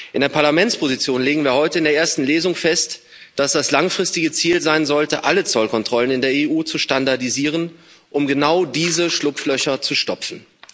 In der Parlamentsposition legen wir heute in der ersten Lesung fest, dass das langfristige Ziel sein sollte, alle Zollkontrollen in der EU zu standardisieren, um genau diese Schlupflöcher zu stopfen.